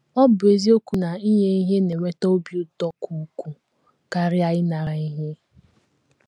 Ọ̀ bụ eziokwu na inye ihe na - eweta obi ụtọ ka ukwuu karịa ịnara ihe?